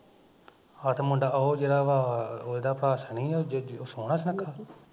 ਹਟ ਉਹ ਮੁੰਡਾ ਉਹ ਜਿਹੜਾ ਵਾ ਉਹ ਇਹਦਾ ਭਰਾ ਸ਼ਨੀ ਉਹ ਸੋਹਣਾ ਸੁਣੱਖਾ ਵਾ